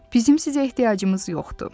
Bizim sizə ehtiyacımız yoxdur.